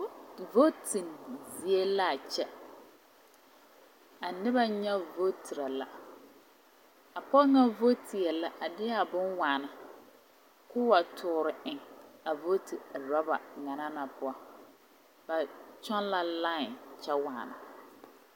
Vooti zie la a kyɛ a noba nyɛ vootiri la a pɔge ŋa vootie la a de a bonne waana k'o wa toɔre eŋ a vooti uruba ŋa na poɔ ba kyɔŋ la lae a kyɛ waana.